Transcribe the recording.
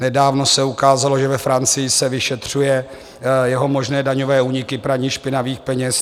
Nedávno se ukázalo, že ve Francii se vyšetřují jeho možné daňové úniky, praní špinavých peněz.